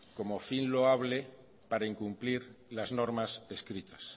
como fin loable para incumplir las normas escritas